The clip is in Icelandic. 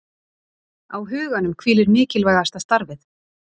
Á huganum hvílir mikilvægasta starfið